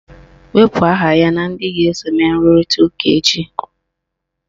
Wepu aha ya na ndị ga-eso mee nrụrịta ụka echi!